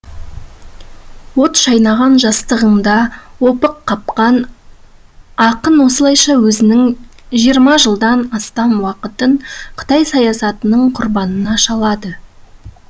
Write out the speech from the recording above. от шайнаған жастығында опық қапқан ақын осылайша өмірінің жирма жылдан астам уақытын қытай саясатының құрбанына шалады